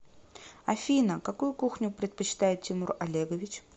афина какую кухню предпочитает тимур олегович